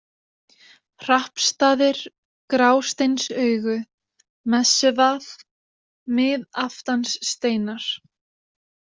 Hrappstaðir, Grásteinsaugu, Messuvað, Miðaftanssteinar